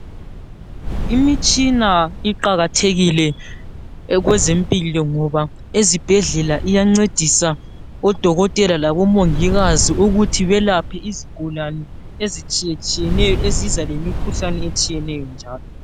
Imitshina iqakathekile kwezempilo ngoba ezibhedlela iyancedisa odokotela labomongikazi ukuthi belaphe izigulane ezitshiyetshiyeneyo eziza lemikhuhlane etshiyeneyo njalo.